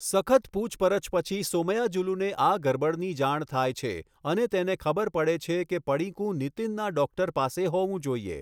સખત પૂછપરછ પછી સોમયાજુલુને આ ગરબડની જાણ થાય છે અને તેને ખબર પડે છે કે પડીકું નીતિનના ડૉક્ટર પાસે હોવું જોઈએ.